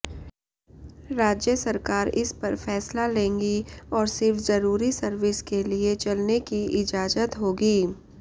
राज्य सरकार इसपर फैसला लेंगी और सिर्फ जरूरी सर्विस के लिए चलने की इजाजत होगी